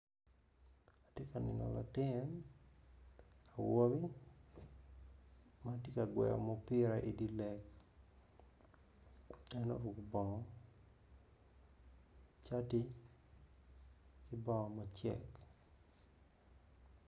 Atye ka neno latin awobi ma tye ka gweyo mupira i dye lek en oruko bongo cati ki bongo macek.